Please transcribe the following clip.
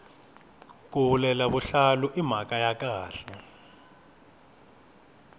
ku hulela vuhlalu i mhaka ya khale